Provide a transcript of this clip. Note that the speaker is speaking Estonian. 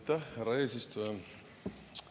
Aitäh, härra eesistuja!